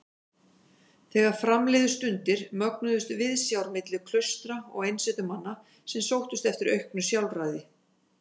Þegar fram liðu stundir mögnuðust viðsjár milli klaustra og einsetumanna sem sóttust eftir auknu sjálfræði.